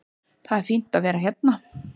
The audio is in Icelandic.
Það er fínt að vera hérna.